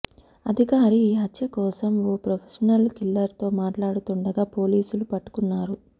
అధికారి ఈ హత్య కోసం ఓ ప్రొఫెషనల్ కిల్లర్తో మాట్లాడుతుండగా పోలీసులు పట్టుకున్నారు